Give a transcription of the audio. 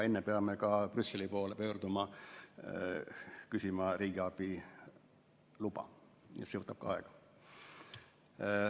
Enne peame ka Brüsseli poole pöörduma ja küsima riigiabiluba ning see võtab ka aega.